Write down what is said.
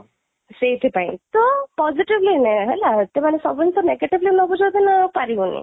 ସେଇଠି ପାଇଁ ତ positively ନେ ହେଲା ତମାନେ ସବୁ ଜିନିଷ negatively ନେବୁ ଯଦି ନା ପାରିବୁନି